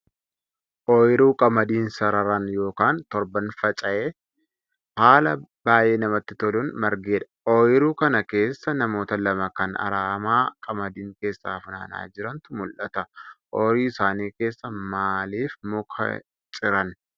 Oyiruu qamadiin sararaan yookaan torbaan faca'ee haala baay'ee namatti toluun margedha. Oyiruu kana keessa namoota lama kan aramaa qamadiin keessaa fanaanaa jirantu mull'ata. Oyiruu isaanii keessaa maaliif muka hin ciran?